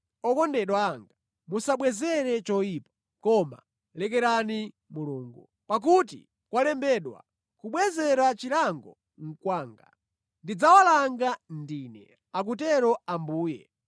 Okondedwa anga, musabwezere choyipa, koma lekerani Mulungu. Pakuti kwalembedwa, “Kubwezera chilango nʼkwanga. Ndidzawalanga ndine,” akutero Ambuye.